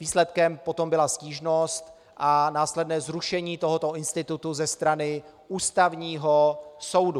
Výsledkem potom byla stížnost a následné zrušení tohoto institutu ze strany Ústavního soudu.